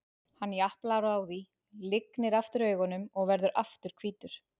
Hann japlar á því, lygnir aftur augunum og verður aftur hvítur.